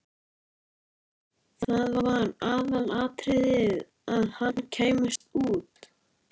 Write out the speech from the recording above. Það var aðalatriðið að HANN kæmist út!